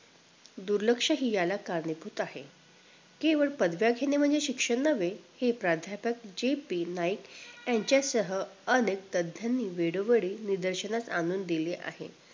दुर्लक्षित याला कारणीभूत आहे केवळ पदव्या घेणे म्हणजे शिक्षण नवे हे प्राध्यापक JP नाईक यांच्यासह अनेक तध्यानि वेळोवेळी निदर्शनास आणून दिले आहेत